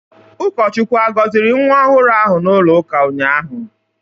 Ụkọchukwu agọziri nwa ọhụrụ ahụ n'ụlọụka ụnyahụ?